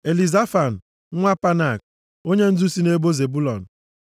Elizafan nwa Panak, onyendu si nʼebo Zebụlọn.